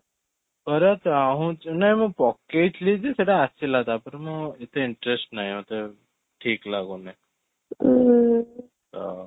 କରିବାକୁ ଚାହୁଁଛି ନାଇଁ ମୁ ପକେଇଥିଲି ଯେ ସେଟା ଆସିଲା ତା'ପରେ ମୁଁ ଏତେ interest ନାହିଁ ମତେ ଠିକ ଲାଗୁନି ତ